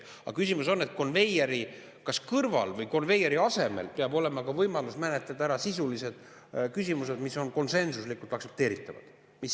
Aga küsimus on, et konveieri kas kõrval või konveieri asemel peab olema ka võimalus menetleda ära sisulised küsimused, mis on konsensuslikult aktsepteeritavad.